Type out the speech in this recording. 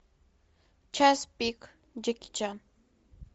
час пик джеки чан